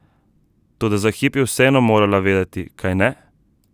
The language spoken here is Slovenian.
Toda za hip je vseeno morala vedeti, kajne?